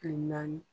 Kile naani